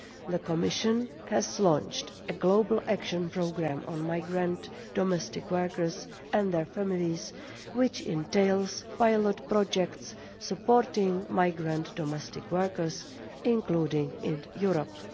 The Commission has launched a global action programme on migrant domestic workers and their families, which entails pilot projects supporting migrant domestic workers including in Europe.